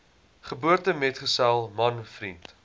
geboortemetgesel man vriend